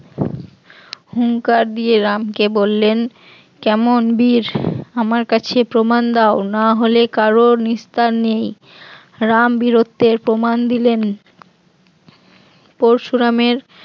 হুংকার দিয়ে রামকে বললেন কেমন বীর আমার কাছে প্রমাণ দাও না হলে কার নিস্তার নেই রাম বীরত্বের প্রমাণ দিলেন পরশুরামের